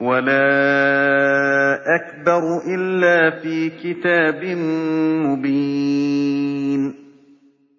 وَلَا أَكْبَرُ إِلَّا فِي كِتَابٍ مُّبِينٍ